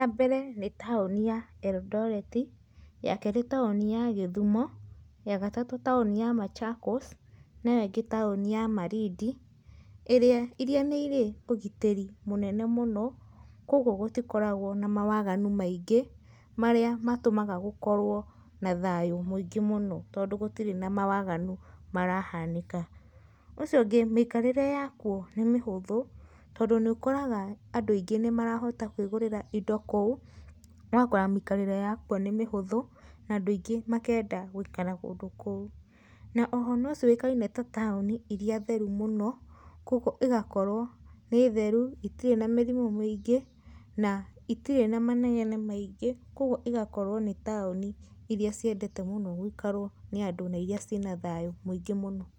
Ya mbere nĩ taũni ya Eldoreti, ya kerĩ nĩ taũni ya Gĩthumo, ya gatatũ taũni ya Machakos na ĩyo ĩngĩ nĩ taũni ya Malindi iria nĩ irĩ ũgitĩri mũnene mũno, kwoguo gũtikoragwa na mawaganu maingi marĩa matũmaga gũkorwo na thayũ mũingĩ mũno tondũ gũtirĩ na mawaganu marahanĩka. Ũcio ũngĩ mĩikarĩre ya kuo nĩ mĩhũthu tondũ nĩũkoraga andũ aingĩ nĩmarahota kwĩgũrĩra indo kũu, ũgakora mĩikarĩre wakuo nĩ mũhũthu na andũ aingĩ makenda gũikara kũndu kũu. Na oho nĩcĩũĩkaine ta taũni irĩa therũ mũno kwoguo ĩgakorwo nĩ theru, itirĩ na mĩrimũ mĩingĩ na itirĩ na manegene maingĩ kwoguo igakorwo ni taũni irĩa ciendete mũno gũikarwo mũno nĩ andũ na iria cina thayũ mũingĩ mũno.